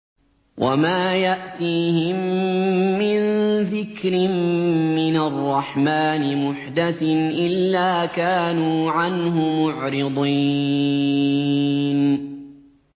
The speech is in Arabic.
وَمَا يَأْتِيهِم مِّن ذِكْرٍ مِّنَ الرَّحْمَٰنِ مُحْدَثٍ إِلَّا كَانُوا عَنْهُ مُعْرِضِينَ